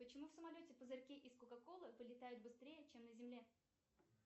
почему в самолете пузырьки из кока колы вылетают быстрее чем на земле